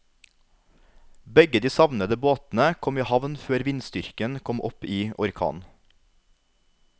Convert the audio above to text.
Begge de savnede båtene kom i havn før vindstyrken kom opp i orkan.